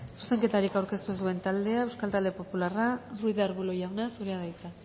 zuzenketarik aurkeztu ez duen taldea euskal talde popularra ruiz de arbulo jauna zurea da hitza